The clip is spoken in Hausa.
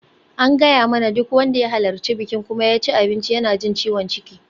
An gaya mana duk wanda ya halarci bikin kuma ya ci abinci yana jin ciwon ciki.